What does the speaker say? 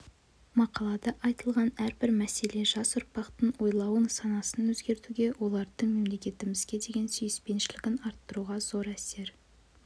мақалада айтылған әрбір мәселе жас ұрпақтың ойлауын санасын өзгертуге олардың мемлекетімізге деген сүйіспеншілігін арттыруға зор әсер